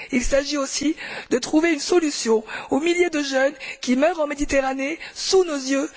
Il s'agit aussi de trouver une solution pour les milliers de jeunes qui meurent en Méditerranée, sous nos yeux.